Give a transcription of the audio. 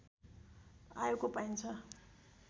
आएको पाइन्छ